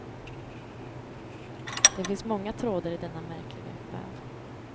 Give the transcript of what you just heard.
Det finns många trådar i denna märkliga väv.